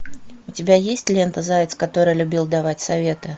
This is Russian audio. у тебя есть лента заяц который любил давать советы